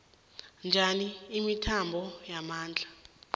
njani imithombo yamandla